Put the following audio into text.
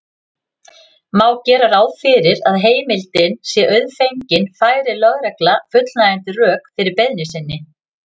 Má gera ráð fyrir að heimildin sé auðfengin færi lögregla fullnægjandi rök fyrir beiðni sinni.